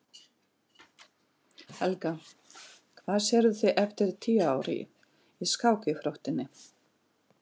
Helga: Hvar sérðu þig eftir tíu ár í, í skákíþróttinni?